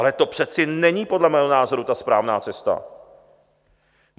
Ale to přece není podle mého názoru ta správná cesta.